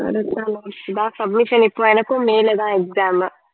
submission இப்ப எனக்கும் May ல தான் exam